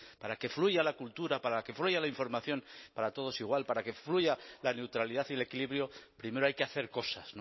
para que fluya la cultura para que fluya la información para todos igual para que fluya la neutralidad y el equilibrio primero hay que hacer cosas